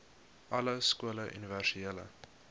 alle skole universele